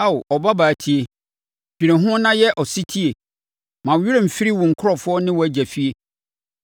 Ao ɔbabaa tie, dwene ho na yɛ ɔsetie; ma wo werɛ mfiri wo nkurɔfoɔ ne wo agya fie.